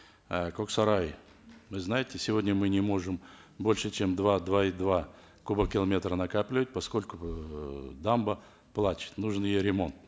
э коксарай вы знаете сегодня мы не можем больше чем два два и два кубокилометра накапливать поскольку эээ дамба плачет нужен ее ремонт